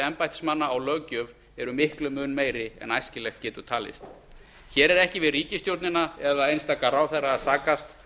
embættismanna á löggjöf eru miklum mun meiri en æskilegt getur talist hér er ekki við ríkisstjórnina eða einstaka ráðherra að sakast